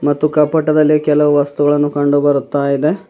ಮತ್ತು ಕಪಟದಲ್ಲಿ ಕೆಲವು ವಸ್ತುಗಳನ್ನು ಕಂಡು ಬರುತ್ತಾ ಇದೆ.